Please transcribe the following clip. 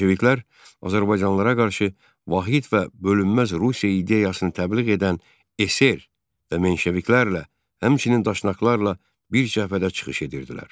Bolşeviklər azərbaycanlılara qarşı vahid və bölünməz Rusiya ideyasını təbliğ edən eser və menşeviklərlə, həmçinin daşnaqlarla bir cəbhədə çıxış edirdilər.